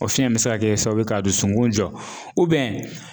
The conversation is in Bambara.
O fiyɛn bɛ se ka kɛ sababu ye k'a dusukun jɔ